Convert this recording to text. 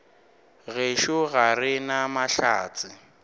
gešo ga re na mahlatse